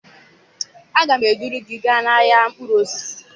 Aga m eduru gị gaa n'ahịa mkpụrụ osisi